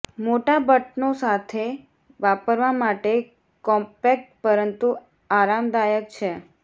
મોટા બટનો સાથે વાપરવા માટે કોમ્પેક્ટ પરંતુ આરામદાયક છે